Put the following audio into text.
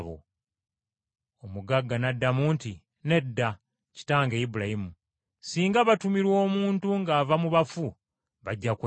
“Omugagga n’addamu nti, ‘Nedda, kitange Ibulayimu, singa batumirwa omuntu ng’ava mu bafu, bajja kwenenya.’